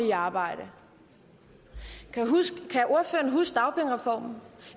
i arbejde kan ordføreren huske dagpengereformen